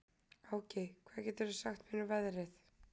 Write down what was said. Áki, hvað geturðu sagt mér um veðrið?